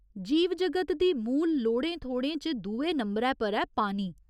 जीव जगत दी मूल लोड़ें थोड़ें च दुए नंबरै पर ऐ पानी।